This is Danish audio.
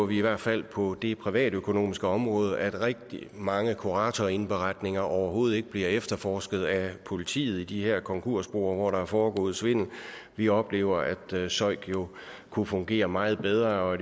vi i hvert fald på det privatøkonomiske område oplever at rigtig mange kuratorindberetninger overhovedet ikke bliver efterforsket af politiet i de her konkursboer hvor der er foregået svindel vi oplever at søik jo kunne fungere meget bedre og